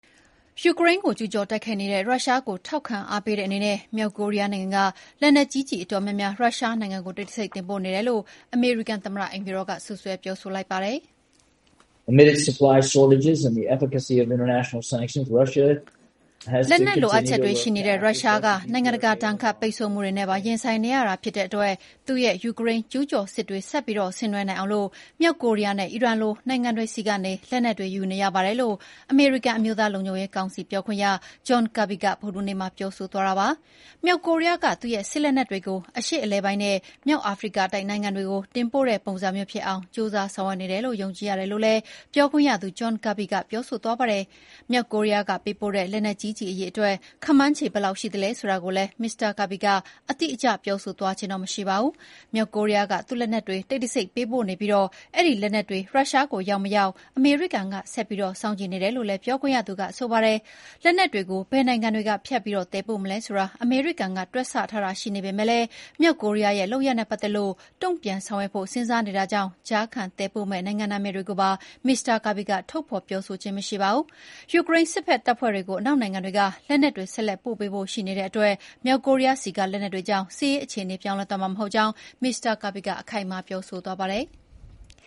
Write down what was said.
ယူကရိန်းကို ကျူးကျော်တိုက်ခိုက်နေတဲ့ ရုရှားကို ထောက်ခံအားပေးတဲ့အနေနဲ့ မြောက်ကိုရီးယားနိုင်ငံက လက်နက်ကြီးကျည်အတော်များများ ရုရှားနိုင်ငံကို တိတ်တဆိတ်တင်ပို့နေတယ်လို့ အမေရိကန်သမ္မတ အိမ်ဖြူတော်က စွပ်စွဲပြောဆိုလိုက်ပါတယ်။ “ လက်နက်လိုအပ်ချက်တွေရှိနေတဲ့ ရုရှားက နိုင်ငံကာဒဏ်ခံပိတ်ဆု့ိမှုတွေနဲ့ပါ ရင်ဆိုင်နေရတာဖြစ်တဲ့အတွက် သူ့ရဲ့ ယူကရိန်းကျူးကျော်စစ်တွေဆက်ပြီးဆင်နွှဲနိုင်အောင် မြောက်ကိုရီးယားနဲ့ အီရန်လို နိုင်ငံတွေဆီက လက်နက်တွေ ယူနေရပါတယ်လို့ အမေရိကန် အမျိုးသားလုံခြုံရေးကောင်စီပြောခွင့်ရ John Kirby ကဗုဒ္ဓဟူးနေ့မှာ ပြောဆိုသွားတာပါ။ မြောက်ကိုရီးယားက သူ့စစ်လက်နက်တွေကို အရှေ့အလယ်ပိုင်းနဲ့ မြောက်အာဖရိကတိုက်နိုင်ငံတွေကို တင်ပို့တဲ့ပုံစံမျိုး ဖြစ်အောင် ကျိုးစားဆောင်ရွက်နေတယ်လို့ ယုံကြည်ရတယ်လို့လည်း ပြောခွင့်ရ John Kirby က ပြောဆိုသွားပါတယ်။ မြောက်ကိုရီးယားက ပေးပို့တဲ့ လက်နက်ကြီးကျည် အရေအတွက် ခန့်မှန်းခြေဘယ်လောက်ရှိသလဲဆိုတာကိုလည်း မစ္စတာ Kirby က အတိအကျ ပြောသွားဆိုခြင်းမရှိပါဘူး။ မြောက်ကိုရီးယားက သူ့လက်နက်တွေ တိတ်တဆိတ် ပေးပို့နေပြီး အဲဒီလက်နက်တွေ ရုရှားကိုရောက်မရောက် အမေရိကန်က ဆက်ပြီးစောင့်ကြည့်နေတယ်လို့လည်း ပြောခွင့်ရသူက ဆိုပါတယ်။ လက်နက်တွေကို ဘယ်နိုင်ငံတွေက ဖြတ်ပြီး သယ်ပို့မလဲဆိုတာ အမေရိကန်က တွက်ဆထားတာရှိနေပေမယ့်လည်း မြောက်ကိုရီးယားရဲ့လုပ်ရပ်နဲ့ပတ်သက်လို့ တုန့်ပြန်ဆောင်ရွက်ဖို့ စဉ်းစားနေတာကြောင့် ကြားခံသယ်ပို့မယ့် နိုင်ငံ နာမည်တွေကိုပါ မစ္စတာ Kirby က ထုတ်ဖော်ပြောဆိုခြင်းမရှိပါဘူး။ ယူကရိန်းစစ်ဖက်တပ်ဖွဲ့ကို အနောက်နိုင်ငံတွေက လက်နက်တွေဆက်လက်ပို့ပေးဖို့ရှိနေတဲ့အတွက် မြောက်ကိုရီးယားဆီက လက်နက်တွေကြောင့် စစ်ရေးအခြေအနေပြောင်းလဲသွားမှာမဟုတ်ကြောင်း မစ္စတာ Kirby ကအခိုင်အမာပြောဆိုသွားပါတယ်။